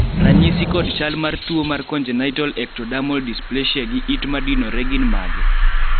ranyisi kod chal mar tuo mar Congenital ectodermal dysplasia gi it madinore gin mage?